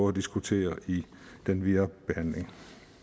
at diskutere i den videre behandling